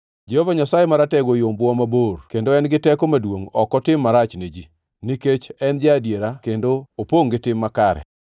Jehova Nyasaye Maratego oyombowa mabor kendo en gi teko maduongʼ ok otim marach ne ji, nikech en ja-adiera kendo opongʼ gi tim makare.